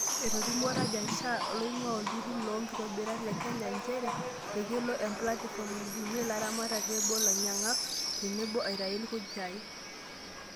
Etolimuo Rajan Shah loing'ua olturu loo nkitobirata le Kenya, njeree ekelo emplatifom aibungia laramatak tebo olainyankak tenebo, eitayu ilkunjai.